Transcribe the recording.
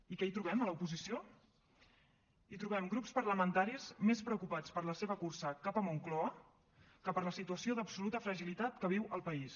i què hi trobem a l’oposició hi trobem grups parlamentaris més preocupats per la seva cursa cap a moncloa que per la situació d’absoluta fragilitat que viu el país